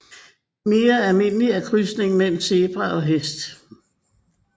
Mere almindeligt er krydsning mellem zebra og hest